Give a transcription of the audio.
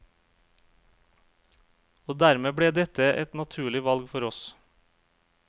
Og dermed ble dette et naturlig valg for oss.